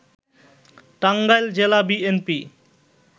টাঙ্গাইল জেলা বিএনপি